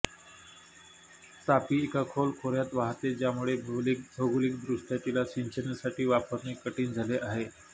तापी एका खोल खोऱ्यात वाहते ज्यामुळे भौगोलिकदृष्ट्या तिला सिंचनासाठी वापरणे कठीण झाले आहे